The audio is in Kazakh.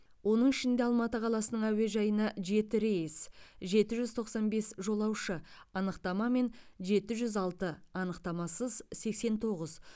оның ішінде алматы қаласының әуежайына жеті рейс жеті жүз тоқсан бес жолаушы анықтамамен жеті жүз алты анықтамасыз сексен тоғыз